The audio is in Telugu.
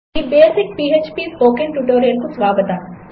ఈబేసిక్phpస్పోకెన్ట్యుటోరియల్కుస్వాగతం